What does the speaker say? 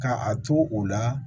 Ka a to u la